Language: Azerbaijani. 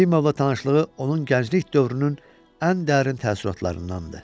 Yefimovla tanışlığı onun gənclik dövrünün ən dərin təəssüratlarındandır.